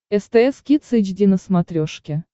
стс кидс эйч ди на смотрешке